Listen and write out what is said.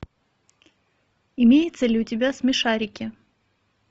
имеется ли у тебя смешарики